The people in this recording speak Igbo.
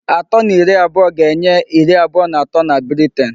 Atọ na iri abụọga-enye iri abụọ na atọ na Britain.